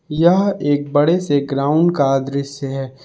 यह एक बड़े से ग्राउंड का दृश्य है।